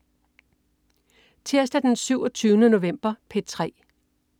Tirsdag den 27. november - P3: